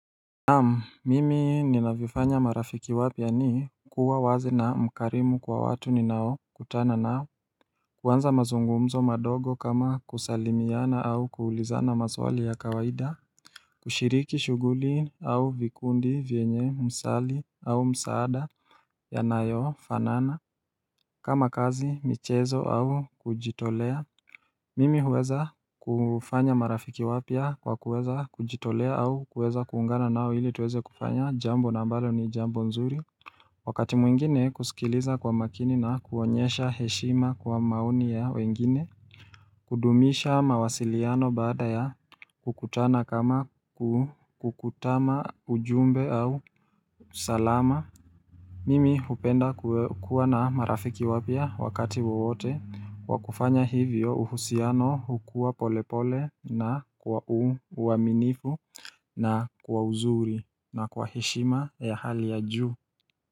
Naam mimi ninavyofanya marafiki wapya ni kuwa wazi na mkarimu kwa watu ni nao kutana nao kuanza mazungumzo madogo kama kusalimiana au kuulizana maswali ya kawaida kushiriki shuhuli au vikundi vyenye msali au msaada yanayofanana kama kazi, michezo au kujitolea Mimi huweza kufanya marafiki wapya kwa kuweza kujitolea au kuweza kuungana nao ili tuweze kufanya jambo ambalo ni jambo nzuri Wakati mwingine kusikiliza kwa makini na kuonyesha heshima kwa maoni ya wengine kudumisha mawasiliano baada ya kukutana kama kukutama ujumbe au salama Mimi hupenda kuwa na marafiki wapya wakati wawote Kwa kufanya hivyo uhusiano hukua polepole na kwa uaminifu na kwa uzuri na kwa heshima ya hali ya juu.